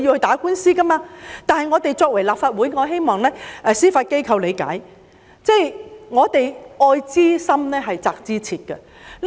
但是，身為立法會議員，我希望司法機構理解，我們愛之深，責之切。